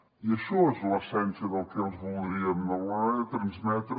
i això és l’essència del que els voldríem d’alguna manera transmetre